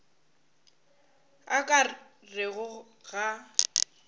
a o ka rego ga